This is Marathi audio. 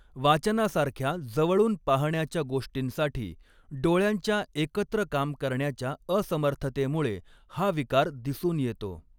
वाचनासारख्या जवळून पाहण्याच्या गोष्टींसाठी डोळ्यांच्या एकत्र काम करण्याच्या असमर्थतेमुळे हा विकार दिसून येतो.